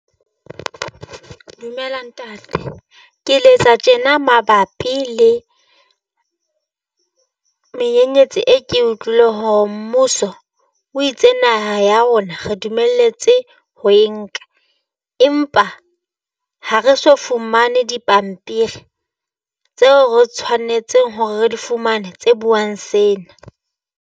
Dumela Ntate. ke letsa tjena mabapi le menyenyetsi e ke utlwile ho mmuso o itse naha ya rona re dumelletswe ho e nka. Empa ha re so fumane dipampiri tseo re tshwanetseng hore re di fumane tse buang sena.